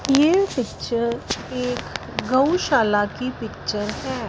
ये पिक्चर एक गौशाला की पिक्चर है।